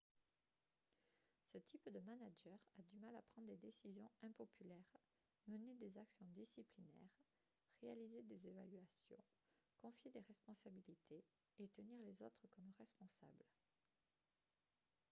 ce type de manager a du mal à prendre des décisions impopulaires mener des actions disciplinaires réaliser des évaluations confier des responsabilités et tenir les autres comme responsable